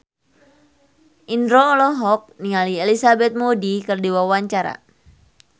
Indro olohok ningali Elizabeth Moody keur diwawancara